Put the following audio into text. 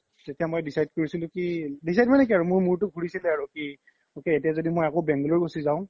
তেতিয়া মই decide কৰিছিলো কি decide মানে কি মোৰ মুৰতো ঘুৰিছিলে আৰু কি ok এতিয়া য্দি মই আকৌ bangalore গুচি যাও